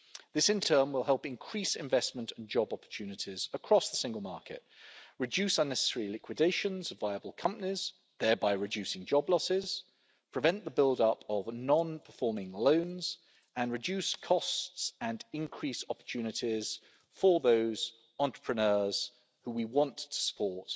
This in turn will help increase investment and job opportunities across the single market, reduce unnecessary liquidations of viable companies, thereby reducing job losses, prevent the build up of non performing loans, and reduce costs and increase opportunities for those entrepreneurs, whom we want to support